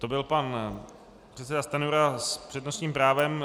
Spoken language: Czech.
To byl pan předseda Stanjura s přednostním právem.